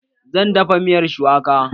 Zan dafa miyar shuwaka